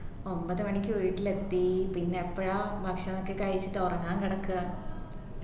ഒൻപത് മണിക്ക് വീട്ടിലെത്തി പിന്നെ എപ്പോഴാ ഭക്ഷണോക്കെ കഴിച്ചിട്ട് ഉറങ്ങാൻ കിടക്കുവ